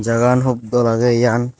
jagan hup dol agey yan.